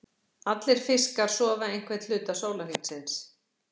Allir fiskar sofa einhvern hluta sólarhringsins.